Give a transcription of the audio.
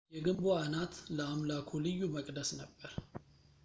የግንቡ አናት ለአምላኩ ልዩ መቅደስ ነበር